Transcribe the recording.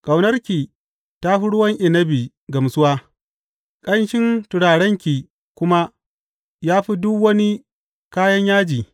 Ƙaunarki ta fi ruwan inabi gamsuwa, ƙanshin turarenki kuma ya fi duk wani kayan yaji!